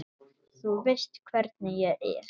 Þú veist hvernig ég er.